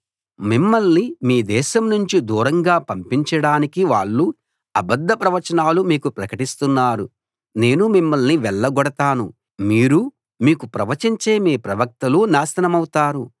మిమ్మల్ని మీ దేశం నుంచి దూరంగా పంపించడానికి వాళ్ళు అబద్ధ ప్రవచనాలు మీకు ప్రకటిస్తున్నారు నేను మిమ్మల్ని వెళ్లగొడతాను మీరూ మీకు ప్రవచించే మీ ప్రవక్తలు నాశనమవుతారు